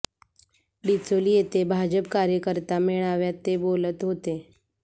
डिचोली येथे भाजप कार्यकर्ता मेळाव्यात ते बोलत होते